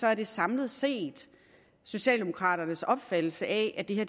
er det samlet set socialdemokraternes opfattelse at det